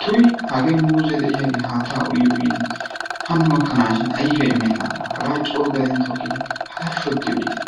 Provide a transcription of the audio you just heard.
Tuyi hagee muuze de'iyagee haattaa uyi uyidi hano gakkanaashin ayfiya imenaagaa hagaa coo gaden tokkidi hagaa shodi olitte.